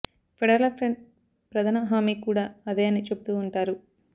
federal front ప్రధన హామీ కూడా అదే అని చెబుతూ ఉంటారు